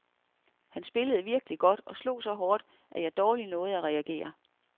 Han spillede virkelig godt, og han slog så hårdt, at jeg dårligt nåede at reagere.